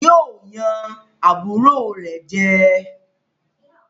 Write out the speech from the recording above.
Yóò yàn àbúrò rẹ̀ jẹ